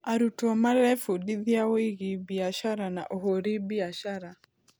Arutwo marebundithia wĩgiĩ biacara na ũhũri biacara.